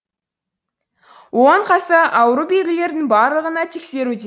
оған қоса ауру белгілерінің барлығына тексеруде